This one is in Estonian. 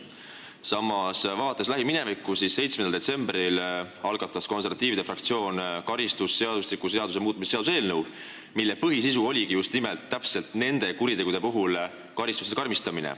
Samas, lähiminevikus, 7. detsembril algatas konservatiivide fraktsioon karistusseadustiku seaduse muutmise seaduse eelnõu, mille põhisisu oligi just niisuguste kuritegude puhul karistuse karmistamise.